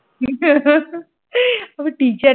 হে হে হে তবে teacher